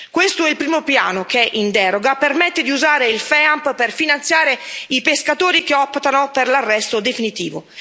Questo è il primo piano che, in deroga, permette di usare il FEAMP per finanziare i pescatori che optano per l'arresto definitivo.